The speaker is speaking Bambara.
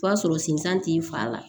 O b'a sɔrɔ sensan t'i fa la